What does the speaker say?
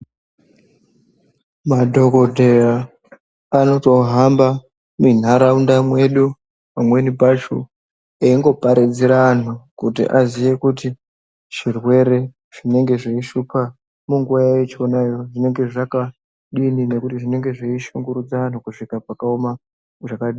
Madhokodhokodheya anotohamba mwindau mwedu mwo eingo pazire anhu kuti zvirwere zvinenge zveishupa anhu zvakadini uye zvinenge zveishupa anhu kusvika pakadini.